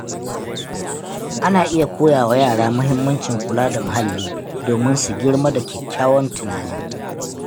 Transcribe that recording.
Ana iya koya wa yara mahimmancin kula da muhalli domin su girma da kyakkyawan tunani.